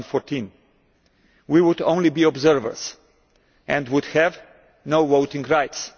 2014. We would only be observers and would have no voting rights.